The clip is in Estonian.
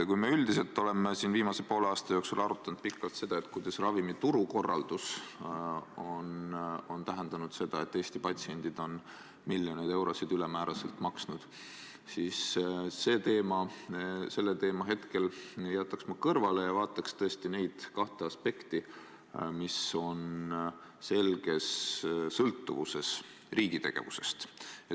Kui me üldiselt oleme viimase poole aasta jooksul arutanud pikalt, kuidas ravimiturukorraldus on tähendanud seda, et Eesti patsiendid on miljoneid eurosid ülemäära maksnud, siis selle teema ma hetkeks jätaks kõrvale ja vaataks tõesti neid kahte aspekti, mis on selges sõltuvuses riigi tegevusest.